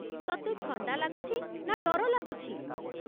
ତତେ ଥଣ୍ଡା ଲାଗୁଛି ନା ଡର ଲାଗୁଛି?